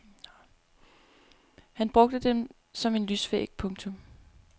Han brugte dem som en lysvæg. punktum